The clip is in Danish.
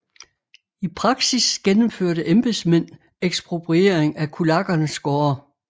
I praksis gennemførte embedsmænd ekspropriering af kulakkernes gårde